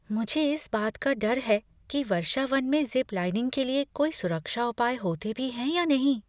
मुझे इस बात का डर है कि वर्षावन में ज़िप लाइनिंग के लिए कोई सुरक्षा उपाय होते भी हैं या नहीं।